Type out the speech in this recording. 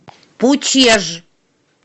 пучеж